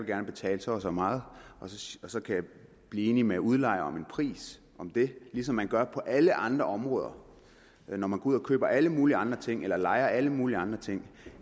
vil betale så og så meget og så kan blive enig med udlejeren om en pris ligesom man gør på alle andre områder når man går ud og køber alle mulige andre ting eller lejer alle mulige andre ting